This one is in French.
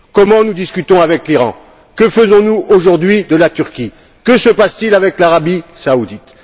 Comment discutons nous avec l'Iran, que faisons nous aujourd'hui de la Turquie, que se passe t il avec l'Arabie saoudite?